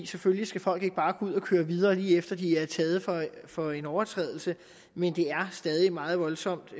selvfølgelig skal folk ikke bare tage ud og køre videre lige efter at de er taget for en overtrædelse men det er stadig meget voldsomt